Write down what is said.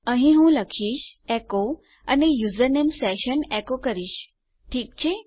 અહીં હું લખીશ એચો અને યુઝરનેમ સેશન એકો કરીશ ઠીક છે